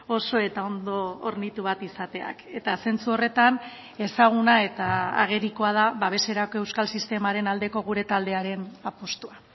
oso eta ondo hornitu bat izateak eta zentzu horretan ezaguna eta agerikoa da babeserako euskal sistemaren aldeko gure taldearen apustua